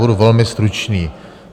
Budu velmi stručný.